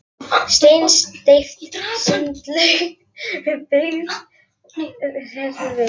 Steinsteypt sundlaug byggð við Hveravík í